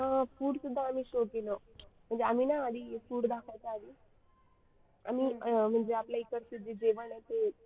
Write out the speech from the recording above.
अं food सुद्धा आम्ही show केलं म्हणजे आम्ही ना आधी food दाखवायचे आधी आणि अं म्हणजे आपले इकडचे जेवण आहे ते.